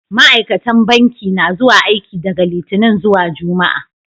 Ma'aikatan banki na aiki daga Littini zuwa Juma'a.